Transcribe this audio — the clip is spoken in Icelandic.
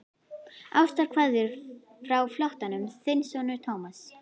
Ástarkveðjur frá flóttanum, þinn sonur Thomas.